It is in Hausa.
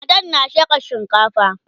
matan na shekan shinkafa